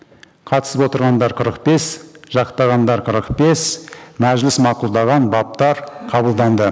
қатысып отырғандар қырық бес жақтағандар қырық бес мәжіліс мақұлдаған баптар қабылданды